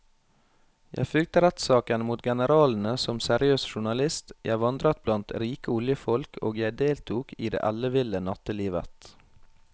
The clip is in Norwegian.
Jeg fulgte rettssakene mot generalene som seriøs journalist, jeg vandret blant rike oljefolk og jeg deltok i det elleville nattelivet.